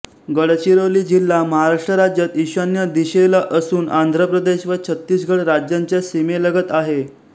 गडचिरोली जिल्हा महाराष्ट्र राज्यात ईशान्य दिशेला असून आंध्र प्रदेश व छत्तीसगड राज्यांच्या सीमेलगत आहे